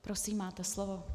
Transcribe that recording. Prosím, máte slovo.